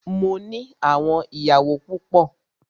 Mó ní àwọn ìyàwó púpọ.